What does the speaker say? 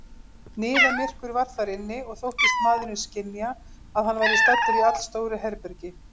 Niðamyrkur var þar inni, og þóttist maðurinn skynja, að hann væri staddur í allstóru herbergi.